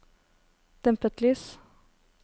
dempet lys